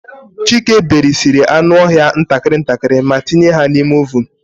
Chike berisiri anụ ọhịa ntakịrị ntakịrị ma tinye ha n'ime ovunu.